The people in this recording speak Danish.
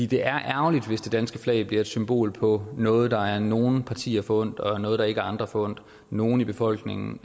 det er ærgerligt hvis det danske flag bliver et symbol på noget der er nogle partier forundt og samtidig noget der ikke er andre forundt nogen i befolkningen